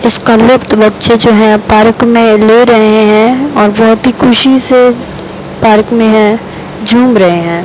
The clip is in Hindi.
इस कॉलेज के बच्चे जो है पार्क में ले रहे हैं और बहुत ही खुशी से पार्क में हैं झूम रहे हैं।